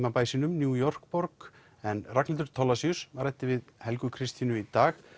í New York borg Ragnhildur ræddi við Helgu Kristínu í dag